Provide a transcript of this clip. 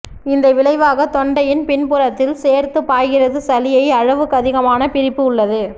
இந்த விளைவாக தொண்டையின் பின்புறத்தில் சேர்த்து பாய்கிறது சளியை அளவுக்கதிகமான பிரிப்பு உள்ளது